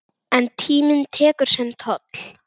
En tíminn tekur sinn toll.